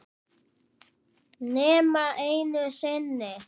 Nema einu sinni.